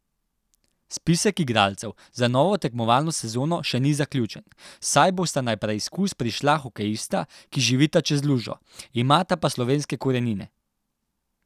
Spisek igralcev za novo tekmovalno sezono še ni zaključen, saj bosta na preizkus prišla hokejista, ki živita čez lužo, imata pa slovenske korenine.